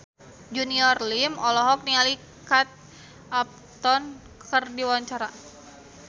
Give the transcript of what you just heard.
Junior Liem olohok ningali Kate Upton keur diwawancara